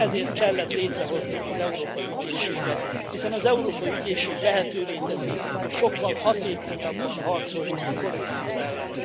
Ezért kellett létrehozni az Európai Ügyészséget, hiszen az Európai Ügyészség lehetővé teszi, hogy sokkal hatékonyabban harcoljunk a korrupció ellen.